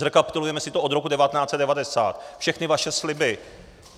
Zrekapitulujeme si to od roku 1990 - všechny vaše sliby.